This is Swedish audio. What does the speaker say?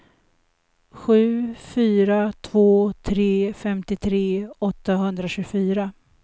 sju fyra två tre femtiotre åttahundratjugofyra